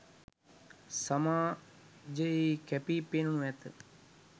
සමාජයෙහි කැපී පෙනෙනු ඇත